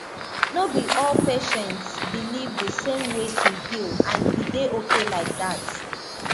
no be all patients believe the same way to heal and e dey okay like that